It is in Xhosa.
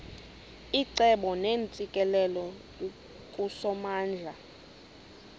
icebo neentsikelelo kusomandla